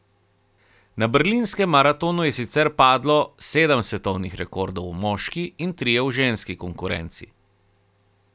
Na berlinskem maratonu je sicer doslej padlo sedem svetovnih rekordov v moški in trije v ženski konkurenci.